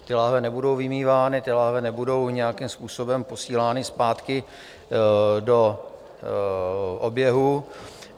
Ty láhve nebudou vymývány, ty láhve nebudou nějakým způsobem posílány zpátky do oběhu.